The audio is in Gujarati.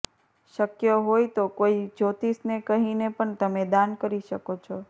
શક્ય હોય તો કોઈ જ્યોતિષને કહીને પણ તમે દાન કરી શકો છો